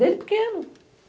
Desde pequeno.